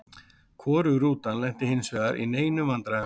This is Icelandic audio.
Hvorug rútan lenti hinsvegar í neinum vandræðum.